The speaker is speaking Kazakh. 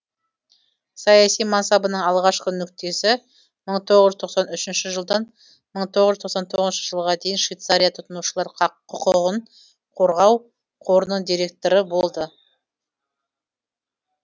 саяси мансабының алғашқы нүктесі мың тоғыз жүз тоқсан үшінші жылдан мың тоғыз жүз тоқсан тоғызыншы жылға дейін швейцария тұтынушылар құқығын қорғау қорының директоры болды